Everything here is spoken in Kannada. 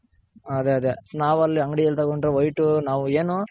ಅದೇ ಅದೇ ನಾವ್ ಅಲ್ಲಿ ಅಂಗಡಿ ಯಲ್ಲಿ ತಗೊಂಡ್ರೆ white ನಾವ್ ಏನು